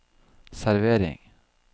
servering